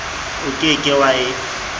o ke ke wa e